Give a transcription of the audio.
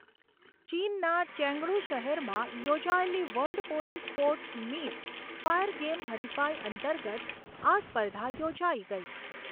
ચીનના ચેંગડુ શહેરમાં યોજાયેલી world police sports meet fire game હરિફાઈ અંતર્ગત આ સ્પર્ધા યોજાઈ ગઈ.